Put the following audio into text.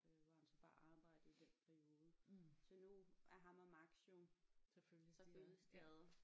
Øh hvor han så bare arbejdede i den periode så nu er ham og Max jo så følges de ad